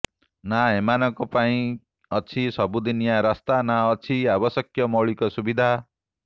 ନା ଏମାନଙ୍କ ପାଇଁ ଅଛି ସବୁଦିନିଆ ରାସ୍ତା ନା ଅଛି ଆବଶ୍ୟକୀୟ ମୌଳିକ ସୁବିଧା